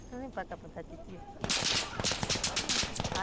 Então vem para cá titia.